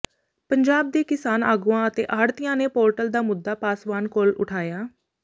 ਪੰਜਾਬ ਦੇ ਕਿਸਾਨ ਆਗੂਆਂ ਤੇ ਆੜ੍ਹਤੀਆਂ ਨੇ ਪੋਰਟਲ ਦਾ ਮੁੱਦਾ ਪਾਸਵਾਨ ਕੋਲ ਉਠਾਇਆ